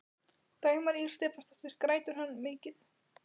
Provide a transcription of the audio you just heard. Dagmar Ýr Stefánsdóttir: Grætur hann mikið?